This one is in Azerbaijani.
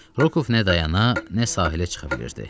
Rokov nə dayana, nə sahilə çıxa bilirdi.